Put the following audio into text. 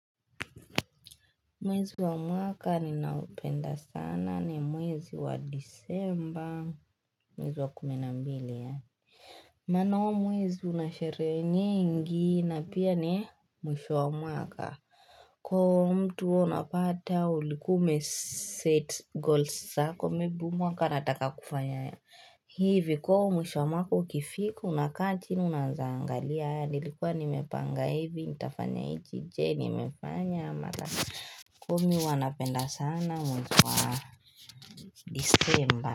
Mwezi wa mwaka ninaupenda sana ni mwezi wa disemba mwezi wa kumi na mbili Mano mwezi unashere nyingi na pia ni mwisho wa mwaka Kwa mtu unapata ulikuwa ume set goals zako maybe mwaka nataka kufanya hivi kwa mwisho wa mwaka ukifika unakaa chini unaweza angalia nilikuwa nimepanga hivi nitafanya iki je nimefanya kumi wana penda sana mwezi wa disemba.